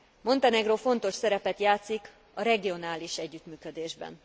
Montenegró fontos szerepet játszik a regionális együttműködésben.